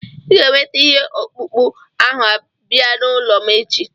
Ị ga-eweta ihe ọkpụkpụ ahụ bịa n'ụlọ m echi.